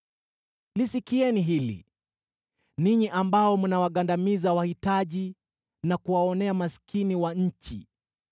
Lisikieni hili, ninyi ambao mnawagandamiza wahitaji, na kuwaonea maskini wa nchi,